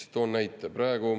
Toon näite.